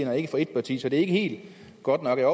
og ikke for et parti så det er ikke helt godt nok jeg